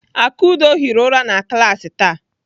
Akudo hiri ụra na klaasị taa.